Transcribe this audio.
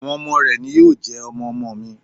Àwọn ọmọ rẹ̀ ni yóò jẹ́ ọmọ-ọmọ mi.